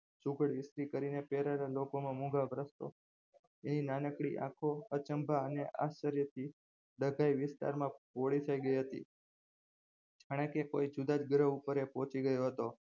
પહેરેલા મોંઘા વસ્ત્રો એની નાનકડી આંખો અચંભા અને આશ્ચર્યથી ડઘાઈ વિસ્તારમાં પોળી થઈ ગઈ હતી જાણેકે કોઈ જુદાજ ગ્રહ ઉપર એ પહોંચી ગયો હતો